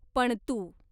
पणतू